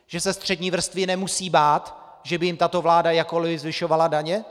Že se střední vrstvy nemusí bát, že by jim tato vláda jakkoli zvyšovala daně?